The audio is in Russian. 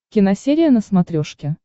киносерия на смотрешке